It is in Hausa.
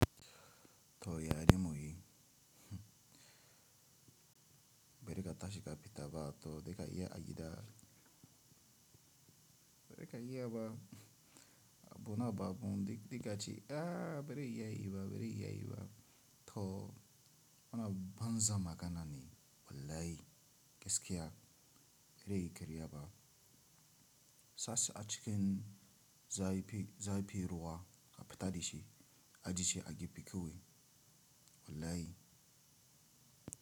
To ya a yi muyi, bere ka tashi ka fita ba to dai ka iya a yi da, bere ka iya ba a bu na babu dikka ce, ah bere iya yi ba, bere iya yi ba. To wannan banza magana ne wallahi, gaskiya bare yi karya ba. Sashi a cikin za a yi, za a yi fi ruwa a fita da shi, a ji ce a giffi kawai wallahi.